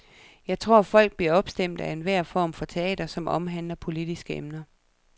Jeg tror, folk bliver opstemte af enhver form for teater, som omhandler politiske emner.